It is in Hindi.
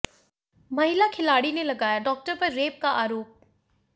महिला खिलाड़ी ने लगाया डॉक्टर पर रेप का आरोप